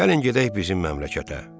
Gəlin gedək bizim məmləkətə.